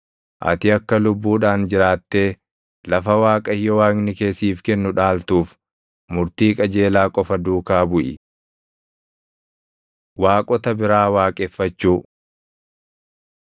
Ati akka lubbuudhaan jiraattee lafa Waaqayyo Waaqni kee siif kennu dhaaltuuf murtii qajeelaa qofa duukaa buʼi. Waaqota Biraa Waaqeffachuu